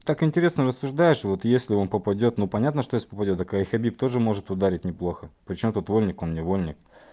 так интересно рассуждаешь вот если он попадёт ну понятно что если попадёт так а хабиб тоже может ударить неплохо причём тут вольник он невольник